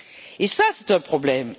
Et ça, c'est un problème.